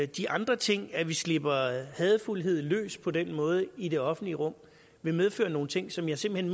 de andre ting at vi slipper hadefuldheden løs på den måde i det offentlige rum vil medføre nogle ting som jeg simpelt